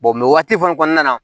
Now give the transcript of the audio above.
waati fana kɔnɔna na